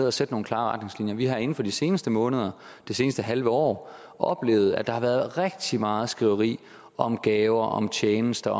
at sætte nogle klare retningslinjer vi har inden for de seneste måneder det seneste halve år oplevet at der har været rigtig meget skriveri om gaver om tjenester